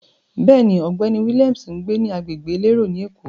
Bẹ́ẹ̀ni, ọ̀gbẹ́ni Williams ń gbé ní agbègbè elérò ni Èkó.